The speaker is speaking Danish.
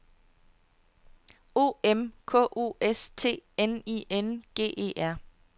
O M K O S T N I N G E R